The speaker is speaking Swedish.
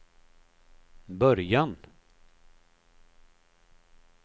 början